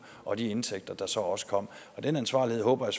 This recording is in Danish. og de indtægter der så også kom og den ansvarlighed håber